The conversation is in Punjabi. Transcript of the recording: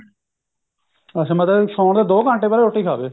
ਅੱਛਾ ਮਤਲਬ ਸੋਨ ਤੋਂ ਦੋ ਘੰਟੇ ਪਹਿਲਾਂ ਰੋਟੀ ਖਾ ਲਵੇ